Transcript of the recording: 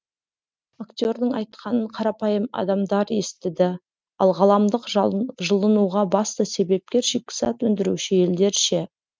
актердің айтқанын қарапайым адамдар естіді ал ғаламдық жылынуға басты себепкер шикізат өндіруші елдер ше